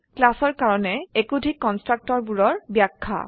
ক্লাসৰ কাৰনে একোধিক কন্সট্ৰাকটৰ বোৰৰ ব্যাখ্যা